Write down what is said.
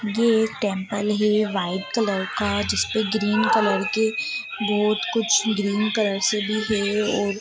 ये एक टेम्पल है वाइट कलर का जिस पे ग्रीन कलर के बोहोत कुछ ग्रीन कलर से भी है और--